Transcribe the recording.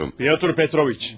Pyotr Petroviç.